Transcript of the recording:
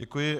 Děkuji.